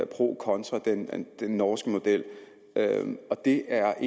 procontra den norske model og det er